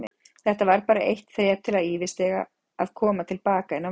Þetta var bara eitt þrep til að yfirstíga, að koma til baka inn á völlinn.